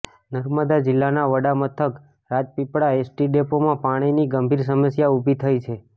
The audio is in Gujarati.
નર્મદા જિલ્લાના વડા મથક રાજપીપલા એસટી ડેપોમા પાણીની ગંભીર સમસ્યા ઉભી થઇ છે